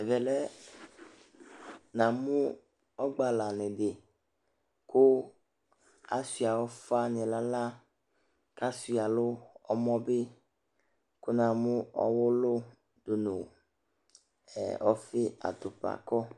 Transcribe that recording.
Ɛvɛ lɛ, namʋ ɔgba lanɩ dɩ kʋ asʋɩ ʋfanɩ nʋ aɣla kʋ asʋɩa nʋ ɔmɔ bɩ kʋ namʋ ɔɣʋlʋ dʋ nʋ ɔfɩ atʋpa